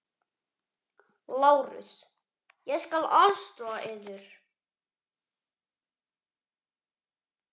LÁRUS: Ég skal aðstoða yður.